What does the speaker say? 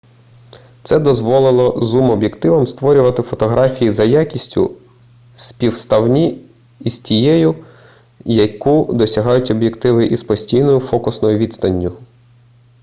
це дозволило зум-об'єктивам створювати фотографії за якістю співставні із тією яку досягають об'єктиви із постійною фокусною відстанню